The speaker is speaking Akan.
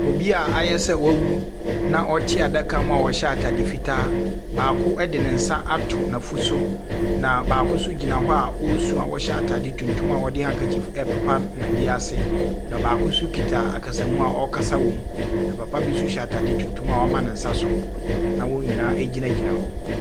Obi a ayɛsɛ wawu na ɔte adaka mu a ɔhyɛ ataade fitaa, baako ɛde ne nsa ato na afu so na baako nso gyina hɔ a ɔɔsu ɔhyɛ ataade tuntum a ɔde hankakyif ɛɛpepa na aniase na baako nso kita akasamu ɔɔkasa wɔm. Na papabi nso hyɛ ataade tuntum a wama ne nsa so na wɔn nyinaa ɛgyina gyina hɔ.